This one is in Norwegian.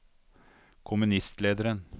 kommunistlederen